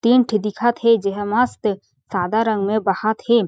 तीन ठी दिखत हे जेहा मस्त सादा रंग में बहत हे।